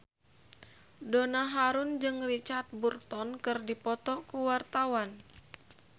Donna Harun jeung Richard Burton keur dipoto ku wartawan